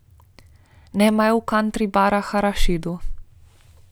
Nimajo v kantri barih arašidov?